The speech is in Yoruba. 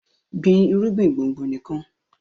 gbìn irúgbìn gbòngbò nikan!